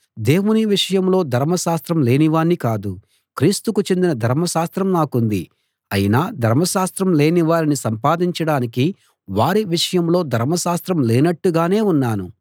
దేవుని విషయంలో ధర్మశాస్త్రం లేని వాణ్ణి కాదు క్రీస్తుకు చెందిన ధర్మశాస్త్రం నాకుంది అయినా ధర్మశాస్త్రం లేని వారిని సంపాదించడానికి వారి విషయంలో ధర్మశాస్త్రం లేనట్టుగానే ఉన్నాను